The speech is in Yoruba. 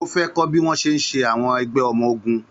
Ó fẹ́ kọ́ bí wọ́n ṣe ń ṣe àwọn ẹgbẹ́ ọmọ ogun.